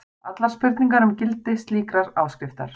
allar spurningar um gildi slíkrar áskriftar.